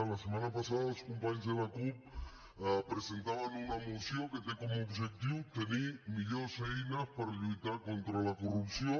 la setmana passada els companys de la cup presentaven una moció que té com a objectiu tenir millors eines per lluitar contra la corrupció